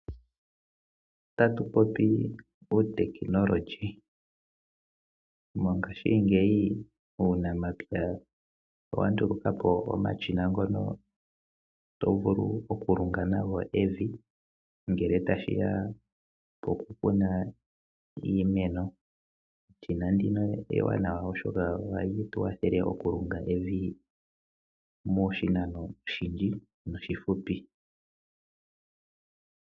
Tatu popi uutekinolohi. Mongashingeyi uunamapya owa nduluka po omashina ngono to vulu okulunga nago evi. Ngele tashi ya pokukuna iimeno eshina ndino ewanawa oshoka ohali tu kwathele okulunga evi moshinano oshindji noshifupi.